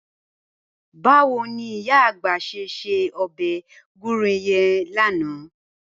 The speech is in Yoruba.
Báwo ni ìyá àgbà s̩e se o̩bè̩ gúre ye̩n lánàá?